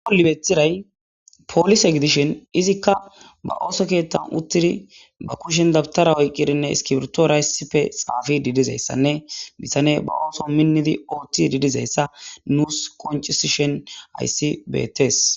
libethiray poolise gidishin izikka ba ooso keettan uttidi ba kushen dabtara oyqqirinne iskibirtoorayssife xaafi diidizayssanne bisane ba ooso minnidi ooththi didizayssa nuus koncisishen ayssi betees